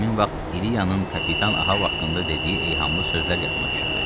Həmin vaxt İliyənin kapitan Ahav haqqında dediyi ehamlı sözlər yadıma düşürdü.